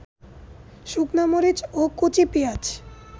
শুকনা-মরিচ ও কচি পেঁয়াজ